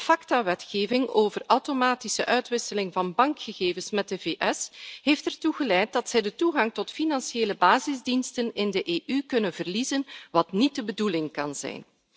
De Facta wetgeving over automatische uitwisseling van bankgegevens met de VS heeft ertoe geleid dat zij de toegang tot financiële basisdiensten in de EU kunnen verliezen, wat niet de bedoeling kan zijn.